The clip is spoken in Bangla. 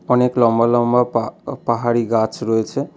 অনেক লম্বা লম্বা পা-পাহাড়ি গাছ রয়েছে।